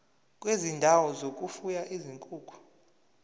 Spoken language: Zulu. kwezindawo zokufuya izinkukhu